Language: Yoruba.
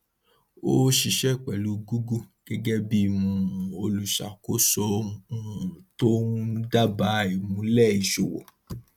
ó ṣiṣẹ pẹlú google gẹgẹ bí um olùṣàkóso um tó ń dábàá ìmúlẹ ìṣòwò